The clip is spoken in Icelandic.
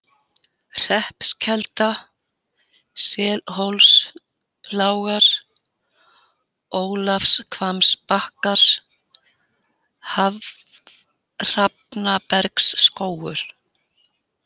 Hreppskelda, Selhólslágar, Ólafshvammsbakkar, Hrafnabergsskógur